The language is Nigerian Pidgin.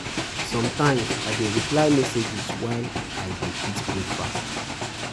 Sometimes I dey reply messages while I dey eat breakfast.